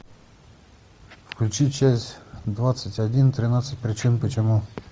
включи часть двадцать один тринадцать причин почему